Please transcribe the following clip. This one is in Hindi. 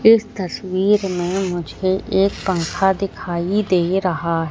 इस तस्वीर में मुझे एक पंखा दिखाई दे रहा--